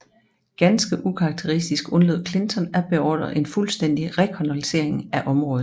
Ganske ukarakteristisk undlod Clinton at beordre en fuldstændig rekognoscering af området